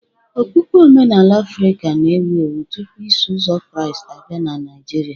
Okpukpe Omenala Afrịka na-ewu ewu tupu Iso Ụzọ Kraịst abịa na Naijiria